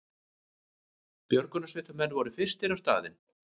Björgunarsveitarmenn voru fyrstir á staðinn